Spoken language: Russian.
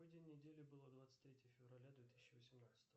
какой день недели было двадцать третье февраля две тысячи восемнадцатого